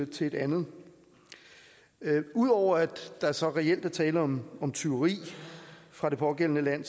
til et andet udover at der så reelt er tale om tyveri fra det pågældende land